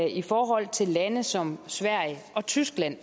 i forhold til lande som sverige og tyskland